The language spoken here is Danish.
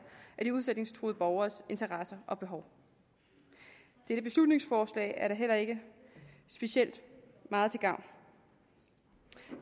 af de udsætningstruede borgeres interesser og behov dette beslutningsforslag er da heller ikke specielt meget til gavn